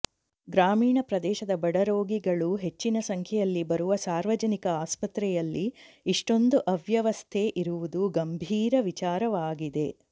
ಗ್ರಾಮೀಣ ಪ್ರದೇಶದ ಬಡರೋಗಿಗಳು ಹೆಚ್ಚಿನ ಸಂಖ್ಯೆಯಲ್ಲಿ ಬರುವ ಸಾರ್ವಜನಿಕ ಆಸ್ಪತ್ರೆಯಲ್ಲಿ ಇಷ್ಟೊಂದು ಅವ್ಯವಸ್ಥೆ ಇರುವುದು ಗಂಭೀರ ವಿಚಾರವಾಗಿದೆ